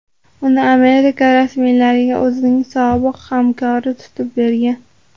Uni Amerika rasmiylariga o‘zining sobiq hamkori tutib bergan.